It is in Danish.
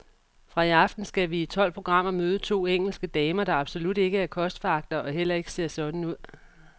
Fra i aften skal vi i tolv programmer møde to engelske damer, der absolut ikke er kostforagtere og heller ikke ser sådan ud.